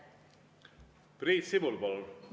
Priit Sibul, palun!